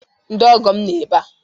Ndị ọgọ m nọ ebe a.